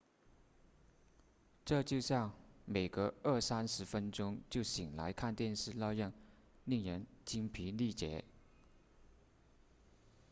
这就像每隔二三十分钟就醒来看电视那样令人筋疲力竭